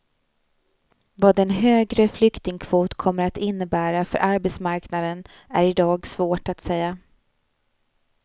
Vad en högre flyktingkvot kommer att innebära för arbetsmarknaden är i dag svårt att säga.